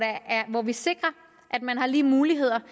hvor vi sikrer at man har lige muligheder